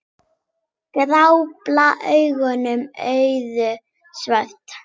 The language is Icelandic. Gráblá augun urðu svört.